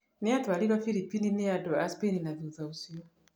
Nĩ yatwarirũo Philippines nĩ andũ a Spain na thutha ũcio